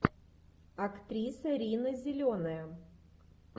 актриса рина зеленая